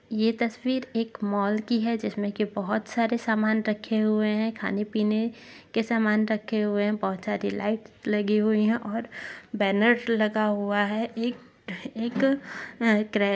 ये तस्वीर एक मॉल की है जिसमे की बहुत सारे समान रखे हुए है खाने पीने के समान रखे हुए है बहुत सारी लाइट्स लगी हुई है और बैनर लगा हुआ है एक अह एक अह अं--